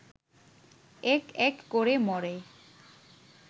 এক এক করে মরে